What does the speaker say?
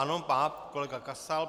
Ano, pan kolega Kasal.